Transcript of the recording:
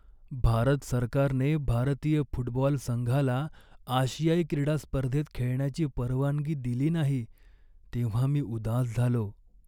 भारत सरकारने भारतीय फुटबॉल संघाला आशियाई क्रीडा स्पर्धेत खेळण्याची परवानगी दिली नाही तेव्हा मी उदास झालो.